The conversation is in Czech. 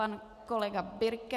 Pan kolega Birke.